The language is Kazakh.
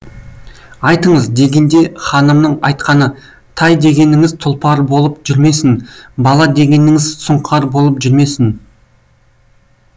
айтыңыз дегенде ханымның айтқаны тай дегеніңіз тұлпар болып жүрмесін бала дегеніңіз сұңқар болып жүрмесін